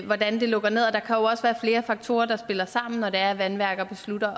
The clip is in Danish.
hvordan det lukker ned og der kan jo også være flere faktorer der spiller sammen når det er at vandværker beslutter